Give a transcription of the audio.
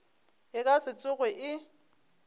e ka se tsoge e